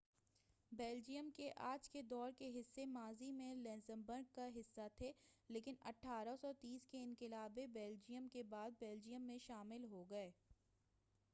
Belgium کے آج کے دور کے حصے ماضی میں لگزمبرگ کا حصہ تھے لیکن 1830 کے انقلابِ بیلجیئم کے بعد بیلجیئم میں شامل ہو گئے